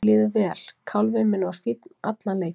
Mér líður vel, kálfinn minn var fínn allan leikinn.